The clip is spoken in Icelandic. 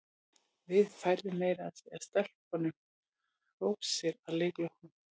Við færðum meira að segja stelpunum rósir að leik loknum.